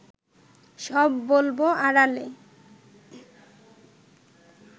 সব বলব আড়ালে